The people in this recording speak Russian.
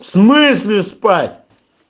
в смысле спать